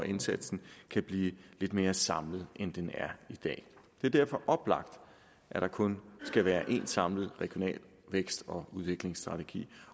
indsatsen kan blive lidt mere samlet end den er i dag det er derfor oplagt at der kun skal være én samlet regional vækst og udviklingsstrategi